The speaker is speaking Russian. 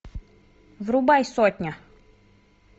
врубай сотня